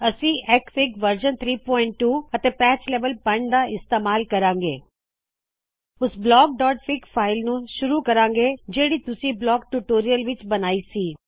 ਅਸੀ XFIG version 32 ਅਤੇ patch level 5 ਦਾ ਇਸਤੇਮਾਲ ਕਰਾਂਗੇ ਓਸ blockਫਿਗ ਫਾਇਲ ਨਾਲ ਸ਼ੁਰੂ ਕਰਾੰਗੇ ਜਿਹੜਿ ਤੁਸੀ ਬਲੌਕਸ ਟਿਊਟੋਰੀਅਲ ਵਿਚ ਬਨਾਈ ਸੀ